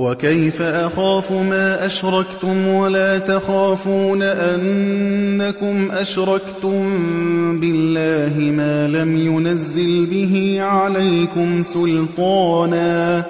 وَكَيْفَ أَخَافُ مَا أَشْرَكْتُمْ وَلَا تَخَافُونَ أَنَّكُمْ أَشْرَكْتُم بِاللَّهِ مَا لَمْ يُنَزِّلْ بِهِ عَلَيْكُمْ سُلْطَانًا ۚ